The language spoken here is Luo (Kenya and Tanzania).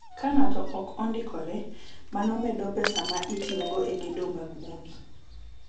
Ka ng’ato ok ondikore, mano medo pesa ma itiyogo e gedo mag udi.